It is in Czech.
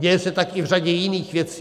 Děje se tak i v řadě jiných věcí.